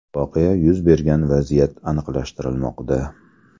Voqea yuz bergan vaziyat aniqlashtirilmoqda.